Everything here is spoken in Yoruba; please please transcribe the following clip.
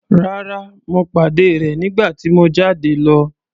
Rárá, mo pàdé rẹ̀ nígbà tí mo jáde lọ.